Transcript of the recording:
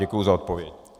Děkuji za odpověď.